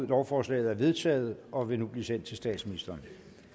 lovforslaget er vedtaget og vil nu blive sendt til statsministeren